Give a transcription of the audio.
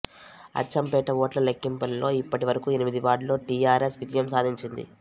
అచ్చంపేట ఓట్ల లెక్కింపులలో ఇప్పటి వరకు ఎనిమిది వార్డులో టిఆర్ఎస్ విజయం సాధించింది